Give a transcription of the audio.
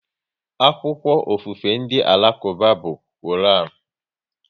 Akwụkwọ ofufe ndị Alakuba bụ Koran